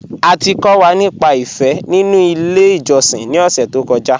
À ti kọ̀ wà nípà ìfé nínu ilẹ̀ ìjọ̀ṣìn ni ọ̀ṣẹ̀ tó kọ́ja.